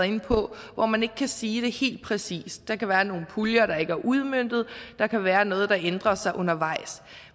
inde på hvor man ikke kan sige det helt præcist der kan være nogle puljer der ikke er udmøntet der kan være noget der ændrer sig undervejs